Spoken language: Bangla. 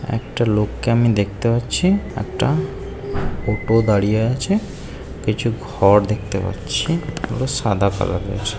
একটা লোক কে আমি দেখতে পাচ্ছি একটা ওটো দাঁড়িয়ে আছে কিছু ঘর দেখতে পাচ্ছি সাদা কালারের এর ।